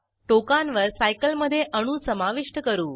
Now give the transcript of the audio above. टोकांवर सायकल मधे अणू समाविष्ट करू